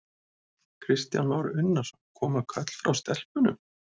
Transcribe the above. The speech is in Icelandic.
Kristján Már Unnarsson: Koma köll frá stelpunum?